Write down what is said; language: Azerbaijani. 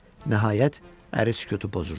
Nəhayət, əri sükutu pozurdu.